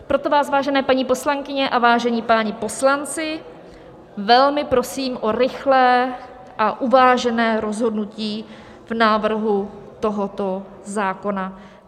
Proto vás, vážené paní poslankyně a vážení páni poslanci, velmi prosím o rychlé a uvážené rozhodnutí v návrhu tohoto zákona.